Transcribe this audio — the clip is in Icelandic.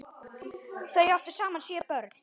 Þau áttu saman sjö börn.